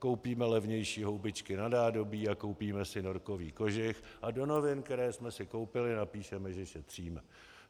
Koupíme levnější houbičky na nádobí a koupíme si norkový kožich a do novin, které jsme si koupili, napíšeme, že šetříme.